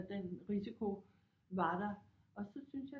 At den risiko var der og så syntes jeg